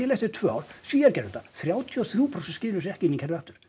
eftir tvö ár Svíar gerðu þetta þrjátíu og þrjú prósent skiluðu sér ekki inn í kerfið aftur